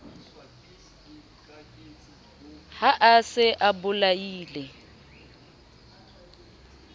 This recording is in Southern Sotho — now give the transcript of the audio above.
ha a se a bolaile